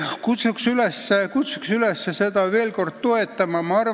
Kutsun veel kord üles seda eelnõu toetama!